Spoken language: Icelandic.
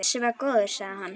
Þessi var góður, sagði hann.